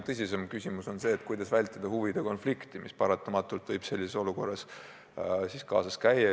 Tõsisem küsimus on pigem see, kuidas vältida huvide konflikti, mis paratamatult võib sellises olukorras tekkida.